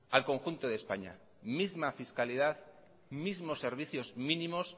al conjunto de españa misma fiscalidad mismos servicios mínimos